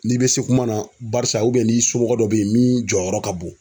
N'i be se kuma na barisa ubiyɛn n'i somɔgɔ dɔ be yen min jɔyɔrɔ ka bon